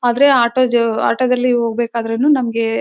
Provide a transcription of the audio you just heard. ಆದ್ರೆ ಆಟೋ ಜೋ ಆಟೋ ದಲ್ಲಿ ಹೋಗ್ಬೇಕಾದ್ರೂನು ನಮಗೆ--